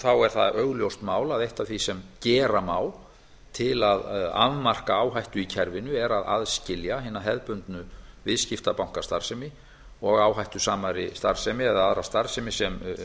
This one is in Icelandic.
þá er það augljóst mál að eitt af því sem gera má til að afmarka áhættu í kerfinu er að aðskilja hina hefðbundnu viðskiptabankastarfsemi og áhættusamari starfsemi eða aðra starfsemi sem